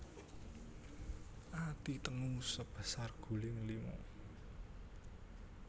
Ati tengu sebesar guling lima